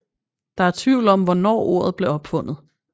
Der er tvivl om hvornår ordet blev opfundet